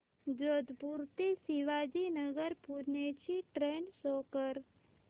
जोधपुर ते शिवाजीनगर पुणे ची train show कर